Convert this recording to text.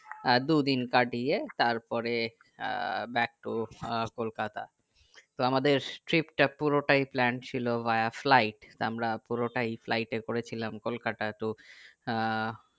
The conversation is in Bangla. আহ দুদিন কাটিয়ে তারপরে আহ back to কলকাতা তো আমাদের trip তা পুরোটা plan ছিল ভায়া flight তা আমরা পুরোটাই flight এ করেছিলাম কলকাতা তো আহ